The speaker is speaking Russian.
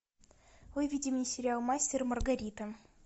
выведи мне сериал мастер и маргарита